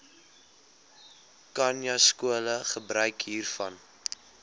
khanyaskole gebruik hiervan